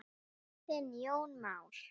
Þinn Jón Már.